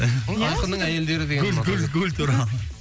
айқынның әйелдері деген гүл гүл гүл туралы